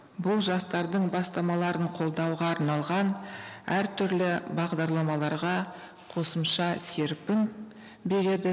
бұл жастардың бастамаларын қолдауға арналған әртүрлі бағдарламаларға қосымша серпін береді